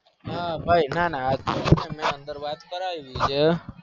હ ભાઈ નાના મેં અંદ વાત કરવી હ